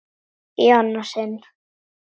Í annað sinn.